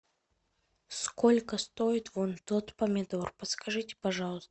сколько стоит вон тот помидор подскажите пожалуйста